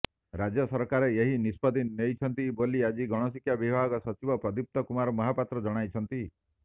ରାଜ୍ୟ ସରକାର ଏହି ନିଷ୍ପତ୍ତି ନେଇଛନ୍ତି ବୋଲି ଆଜି ଗଣଶିକ୍ଷା ବିଭାଗ ସଚିବ ପ୍ରଦୀପ୍ତ କୁମାର ମହାପାତ୍ର ଜଣାଇଛନ୍ତି